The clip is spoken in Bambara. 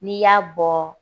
N'i y'a bɔ